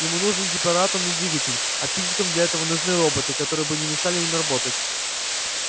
ему нужен гиператомный двигатель а физикам для этого нужны роботы которые бы не мешали им работать